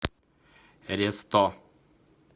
ресто